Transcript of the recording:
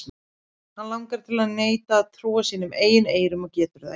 Hann langar til að neita að trúa sínum eigin eyrum en getur það ekki.